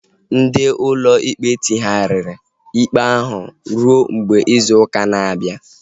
Ndị ụlọ ikpe tinyeghariri ikpe ahu ruo mgbe izu ụka na-abịa